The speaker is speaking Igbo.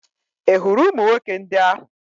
Ị hụrụ ụmụ nwoke ndị ahụ?